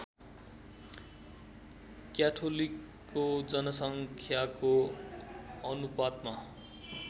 क्याथोलिकको जनसङ्ख्याको अनुपातमा